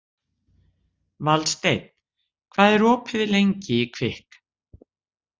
Valsteinn, hvað er opið lengi í Kvikk?